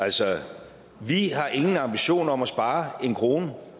altså vi har ingen ambitioner om at spare en krone